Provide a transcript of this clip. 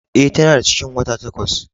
E, ta na da cikin wata takwas.